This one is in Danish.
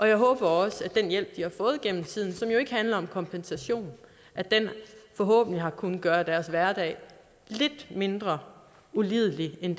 jeg håber også at den hjælp de har fået gennem tiden og som ikke handler om kompensation forhåbentlig har kunnet gøre deres hverdag lidt mindre ulidelig end